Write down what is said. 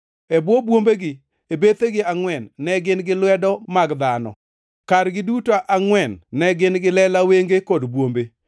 E bwo bwombegi, e bethegi angʼwen, ne gin gi lwedo mag dhano. Kargi duto angʼwen ne gin gi lela wenge kod bwombe,